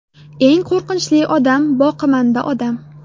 Eng qo‘rqinchli odam boqimanda odam.